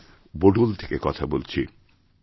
আমি বোডল থেকে কথা বলছি